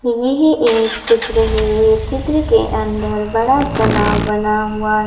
यह एक चित्र है चित्र के अंदर बड़ा तालाव बना हुआ ।